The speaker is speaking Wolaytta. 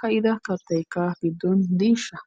Ka'idda kaattaykka giddon diishsha?